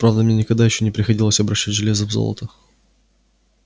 правда мне никогда ещё не приходилось обращать железо в золото